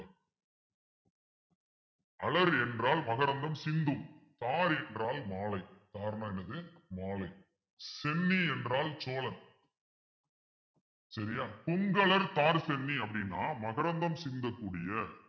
அலறு என்றால் மகரந்தம் சிந்து தார் என்றால் மாலை தார்ன்னா என்னது மாலை சென்னி என்றால் சோழன் சரியா கொங்கலர்த்தார்ச் சென்னி அப்படின்னா மகரந்தம் சிந்தக்கூடிய